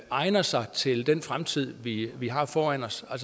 egner sig til den fremtid vi har foran os og